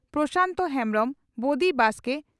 ᱯᱨᱚᱥᱟᱱᱛ ᱦᱮᱢᱵᱽᱨᱚᱢ ᱵᱚᱫᱤ ᱵᱟᱥᱠᱮ